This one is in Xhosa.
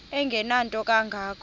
engenanto kanga ko